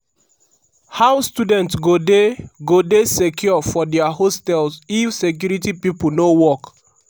how students go dey go dey secure for dia hostels if security pipo no work?